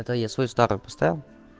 это я свою старую поставил